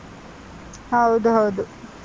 ಹೌದು ಹೌದು.